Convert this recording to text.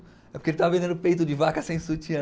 É porque ele estava vendendo peito de vaca sem sutiã.